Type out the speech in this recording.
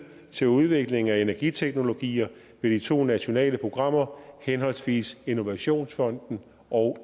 til udvikling af nye energiteknologier ved de to nationale programmer henholdsvis innovationsfonden og